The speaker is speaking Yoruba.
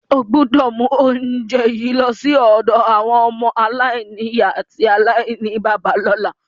O gbọ́dọ̀ mu ounje yi lọ si àwọn ọmọ-aláìnìyá àti aláìníbàbá lọ́la.